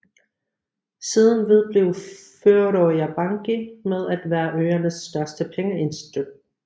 Siden vedblev Føroya Banki med at være øernes største pengeinstitut